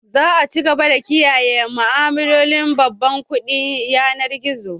Za a ci gaba da kiyaye ma'amalolin babban kuɗin yanar gizo